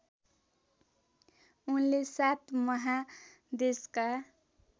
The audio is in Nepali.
उनले सात महादेशका